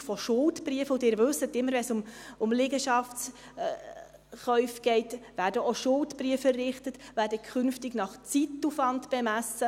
Die Errichtung von Schuldbriefen – und Sie wissen: immer, wenn es um Liegenschaftskäufe geht, werden auch Schuldbriefe errichtet – wird künftig nach Zeitaufwand bemessen.